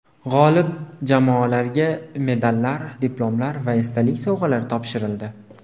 G‘olib jamoalarga medallar, diplomlar va esdalik sovg‘alari topshirildi.